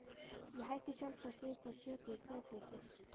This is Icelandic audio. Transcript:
Ég hætti sjálfsagt við það sökum þrekleysis.